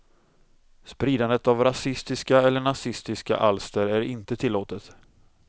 Spridandet av rasistiska eller nazistiska alster är inte tillåtet.